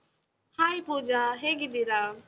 Hai Pooja, ಹೇಗಿದ್ದೀರಾ?